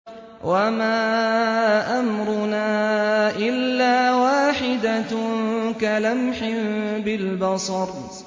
وَمَا أَمْرُنَا إِلَّا وَاحِدَةٌ كَلَمْحٍ بِالْبَصَرِ